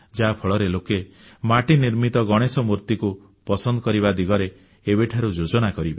ଯାହାଫଳରେ ଲୋକେ ମାଟି ନିର୍ମିତ ଗଣେଶ ମୂର୍ତ୍ତିକୁ ପସନ୍ଦ କରିବା ଦିଗରେ ଏବେଠାରୁ ଯୋଜନା କରିବେ